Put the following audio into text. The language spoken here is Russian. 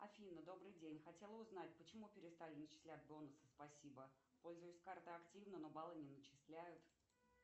афина добрый день хотела узнать почему перестали начислять бонусы спасибо пользуюсь картой активно но баллы не начисляют